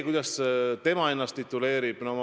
Kuidas ta ennast tituleerib?